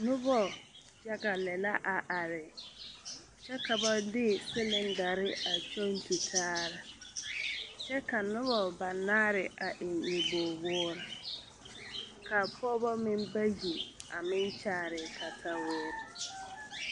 Noba yaga lɛ la a are kyɛ ka ba de silindare a kyɔŋ tutaare kyɛ ka noba banaare a eŋ nyɔbogwoore ka pɔgeba meŋ bayi a meŋ kyaare kataweere.